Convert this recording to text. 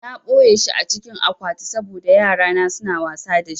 Na ɓoyeshi a cikin akwati saboda yarana suna wasa da shi